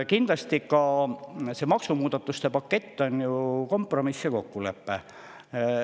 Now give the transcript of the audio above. Kindlasti on see maksumuudatuste pakett kompromisskokkulepe.